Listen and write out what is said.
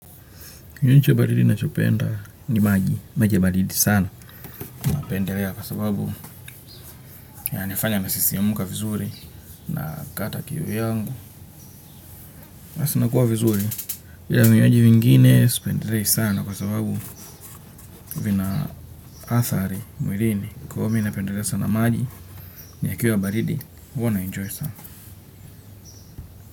Kinywaji cha baridi nachopenda ni maji, maji ya baridi sana. Napendelea kwa sababu yananifanya nasisimumuka vizuri na kata kiu yangu. Hasa nakuwa vizuri, ila vinywaji vingine sipendelei sana kwa sababu vina athari mwilini. Kwa hiyo mi napendelea sana maji, yakiwa baridi, huwa na enjoy sana.